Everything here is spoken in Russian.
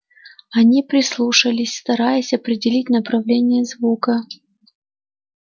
они прислушались стараясь определить направление звука